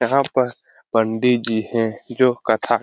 यहाँ पर पंडित जी है जो कथा --